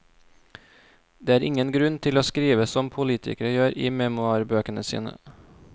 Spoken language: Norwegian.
Det er ingen grunn til å skrive som politikere gjør i memoarbøkene sine.